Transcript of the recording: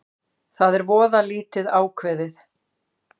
Það er voða lítið ákveðið